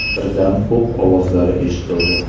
Birdan o‘q ovozlari eshitildi.